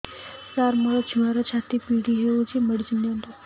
ସାର ମୋର ଛୁଆର ଛାତି ପୀଡା ହଉଚି ମେଡିସିନ ଦିଅନ୍ତୁ